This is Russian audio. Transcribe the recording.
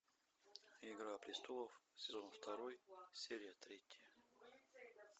игра престолов сезон второй серия третья